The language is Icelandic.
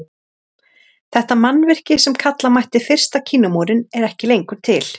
Þetta mannvirki sem kalla mætti fyrsta Kínamúrinn er ekki lengur til.